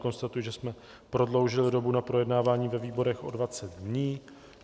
Konstatuji, že jsme prodloužili dobu na projednávání ve výborech o 20 dní.